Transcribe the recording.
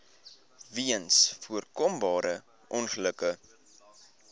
weens voorkombare ongelukke